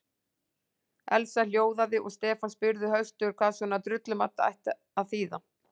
Elsa hljóðaði og Stefán spurði höstugur hvað svona drullumall ætti að þýða?